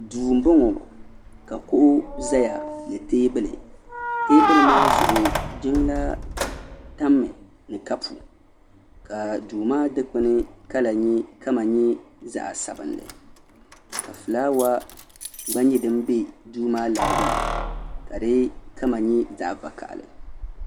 duu n bɔŋɔ ka kuɣu ʒɛya ni teebuli teebuli maa zuɣu jiŋlaa tammi ni kapu ka duu maa dikpuni kama nyɛ zaɣ sabinli ka fulaawa gba nyɛ din bɛ duu maa larigi ni ka di kama nyɛ zaɣ vakaɣali